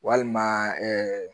Walima